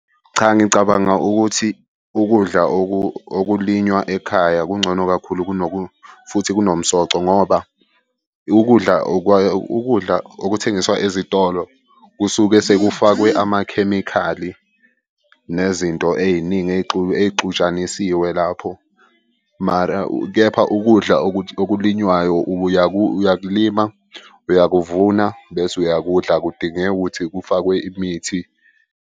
Cha, ngicabanga ukuthi ukudla okulinywa ekhaya kungcono kakhulu futhi kunomsoco ngoba ukudla ukudla okuthengiswa ezitolo kusuke sekufakwe amakhemikhali nezinto ey'ningi ey'xutshanisiwe. Lapho mara, kepha ukudla okulinywayo uyakulima, uyakuvuna bese uyakudla. Akudingeki ukuthi kufakwe imithi.